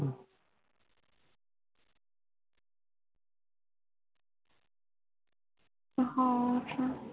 ਹਾਂ ਅੱਛਾ